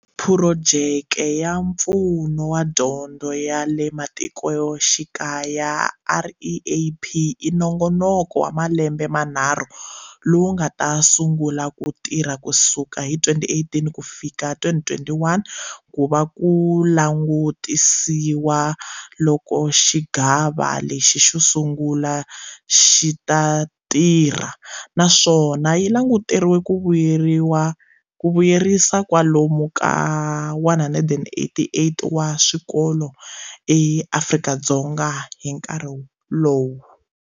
Phurojeke ya Mpfuno wa Dyondzo ya le Matiko xikaya, REAP, i nongonoko wa malembe manharhu lowu wu nga ta sungula ku tirha kusuka hi 2018 kufika hi 2021 ku va ku langutisisiwa loko xigava lexi xo sungula xi ta tirha, naswona yi languteriwe ku vuyerisa kwalomu ka 188 wa swikolo eAfrika-Dzonga hi nkarhi lowu.